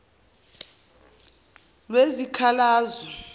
lwezikhalazo